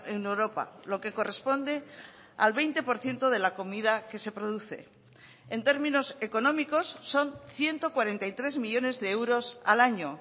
en europa lo que corresponde al veinte por ciento de la comida que se produce en términos económicos son ciento cuarenta y tres millónes de euros al año